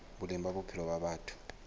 boleng ba bophelo ba batho